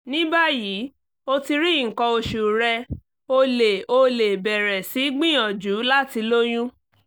ní báyìí o ti rí nǹkan oṣù rẹ o lè o lè bẹ̀rẹ̀ sí gbìyànjú láti lóyún